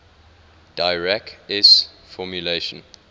dirac s formulation